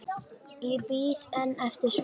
Ég bíð enn eftir svari.